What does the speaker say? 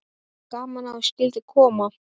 Gaman að þú skyldir koma.